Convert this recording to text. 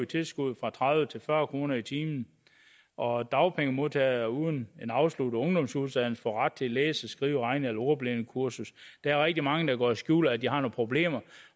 tilskuddet fra tredive til fyrre kroner i timen og dagpengemodtagere uden en afsluttet ungdomsuddannelse får ret til læse skrive regne eller ordblindekursus der er rigtig mange der går og skjuler at de har nogle problemer